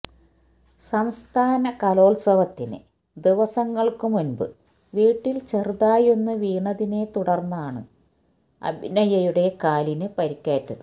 സംസ്ഥാന കലോത്സവത്തിന് ദിവസങ്ങള്ക്കു മുന്പ് വീട്ടില് ചെറുതായൊന്ന് വീണതിനെ തുടര്ന്നാണ് അഭിനയയുടെ കാലിനു പരുക്കേറ്റത്